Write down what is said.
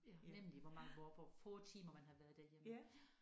Hvor mange hvor hvor få timer man har været derhjemme